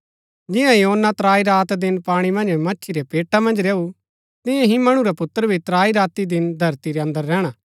जिआं योना त्राई रात दिन पाणी मन्ज मच्छी रै पेटा मन्ज रैऊ तियां ही मणु रा पुत्र भी त्राई राती दिन धरती रै अन्दर रैहणा